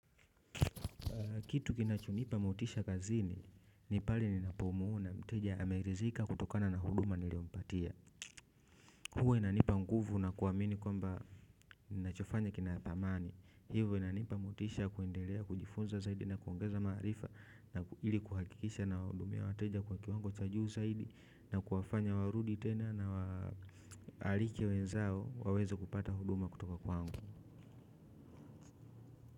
Kitu kinachonipa motisha kazini ni pale ninapomuona mteja ameridhika kutokana na huduma niliompatia. Huwa inanipa mguvu na kuamini kwamba ninachofanya kina thamani. Hivo inanipa motisha ya kuendelea, kujifunza zaidi na kuongeza maarifa na ili kuhakikisha nawahudumia wateja kwa kiwango cha juu zaidi na kuwafanya warudi tena na aliki wenzao waweze kupata huduma kutoka kwangu.